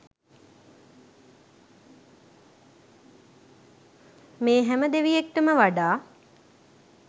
මේ හැම දෙවියෙක්ටම වඩා